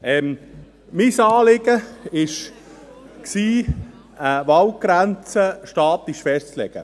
Mein Anliegen war, die Waldgrenze statisch festzulegen.